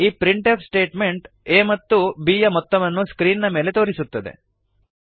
ಈ printf statement a ಮತ್ತು b ಯ ಮೊತ್ತವನ್ನು ಸ್ಕ್ರೀನ್ ನ ಮೇಲೆ ತೋರಿಸುತ್ತದೆ